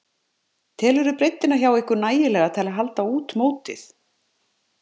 Telurðu breiddina hjá ykkur nægilega til að halda út mótið?